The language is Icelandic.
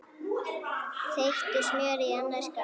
Þeyttu smjörið í annarri skál.